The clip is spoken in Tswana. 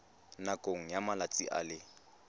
nakong ya malatsi a le